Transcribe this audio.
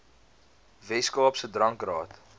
wes kaapse drankraad